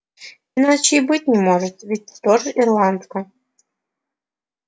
иначе и быть не может ведь тоже ирландка